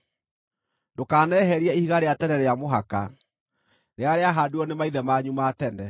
Ndũkaneherie ihiga rĩa tene rĩa mũhaka rĩrĩa rĩahaandirwo nĩ maithe manyu ma tene.